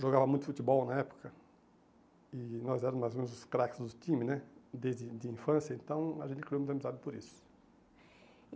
Jogava muito futebol na época e nós éramos mais ou menos os craques do time né, desde de a infância, então a gente criou uma amizade por isso.